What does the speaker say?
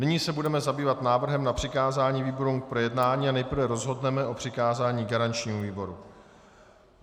Nyní se budeme zabývat návrhem na přikázání výborům k projednání a nejprve rozhodneme o přikázání garančnímu výboru.